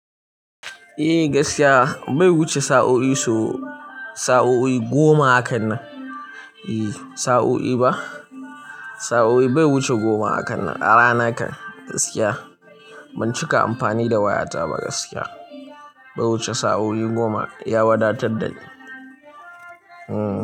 Eh gaskiya bai wuce sa'o'i sau sa'o'i goma hakan nan. Eh sa'o'i ba, sa'o'i bai wuce goma hakan nan a rana kan gaskiya. Ban cika amfani da wayata ba gaskiya, bai wuce sa'o'i goma ya wadatar da ni. Hmm.